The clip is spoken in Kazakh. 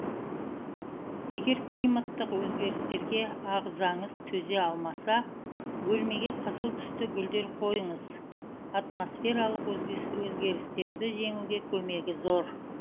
егер климаттық өзгерістерге ағзаңыз төзе алмаса бөлмеге қызыл түсті гүлдер қойыңыз атмосфералық өзгерістерді жеңуге көмегі зор